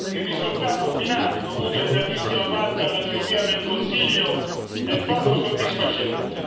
Il risultato finale, dovuto in grandissima parte alla miopia del Consiglio, è poco soddisfacente.